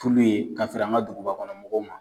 Furu ye ka feere an ka dugubakɔnɔmɔgɔw ma